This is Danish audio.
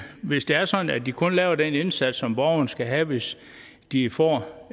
hvis det er sådan at de kun laver den indsats som borgeren skal have hvis de får